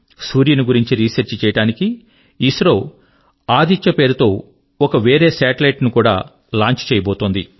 సూర్యుని గురించి రీసెర్చ్ చేయడానికి ఇస్రో ఆదిత్య పేరుతో ఒక వేరే సాటెలైట్ ను కూడా లాంచ్ చేయబోతోంది